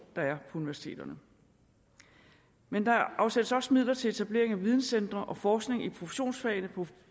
der er på universiteterne men der afsættes også midler til etablering af videncentre og forskning i produktionsfagene